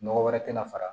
Nɔgɔ wɛrɛ tɛna fara